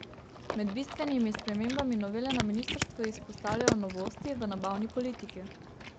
Med bistvenimi spremembami novele na ministrstvu izpostavljajo novosti v nabavni politiki.